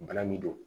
Bana min don